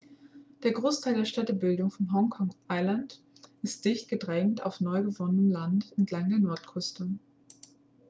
der großteil der städtebildung von hong kong island ist dicht gedrängt auf neugewonnenem land entlang der nordküste